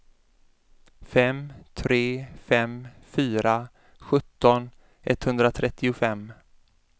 fem tre fem fyra sjutton etthundratrettiofem